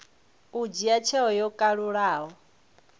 u dzhia tsheo yo kalulaho